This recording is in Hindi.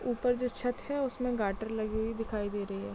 ऊपर जो छत है उसमे गार्टर लगी हुई दिखाई दे रही है।